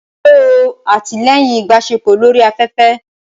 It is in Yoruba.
Ṣe o atilẹyin ibaṣepọ lori aƒẹfẹ?